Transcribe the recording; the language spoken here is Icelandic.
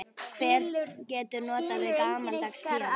Hver getur notast við gamaldags píanó?